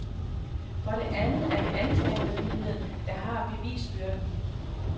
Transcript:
For det andet er det anklagemyndigheden, der har bevisbyrden.